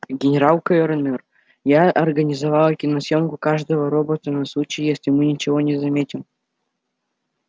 генерал кэллнер я организовала киносъёмку каждого робота на случай если мы ничего не заметим